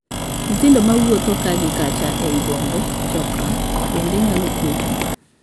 Nyithindo mawuotho ka gi kacha ei bombe ('chokra') bende nyalo kwecho.